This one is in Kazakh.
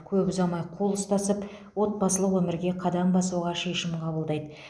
көп ұзамай қол ұстасып отбасылық өмірге қадам басуға шешім қабылдайды